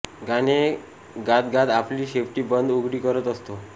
गाणे गातगात आपली शेपटी बंद उघडी करत असतो